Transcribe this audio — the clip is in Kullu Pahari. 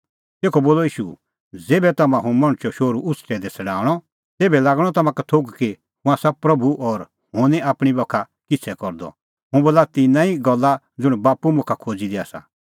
तेखअ बोलअ ईशू ज़ेभै तम्हां हुंह मणछो शोहरू उछ़टै दी छ़ड़ाऊंणअ तेभै लागणअ तम्हां का थोघ कि हुंह आसा प्रभू और हुंह निं आपणीं बाखा किछ़ै करदअ हुंह बोला तिन्नां ई गल्ला ज़ुंण बाप्पू मुखा खोज़ी दी आसा